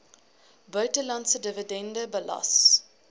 buitelandse dividende belas